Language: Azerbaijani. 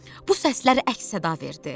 Bu səslər əks-səda verdi.